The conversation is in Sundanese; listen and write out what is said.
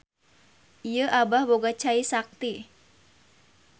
Ieu Abah boga cai sakti.